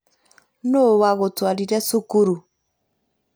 Nũũ wagũtwarire cukuru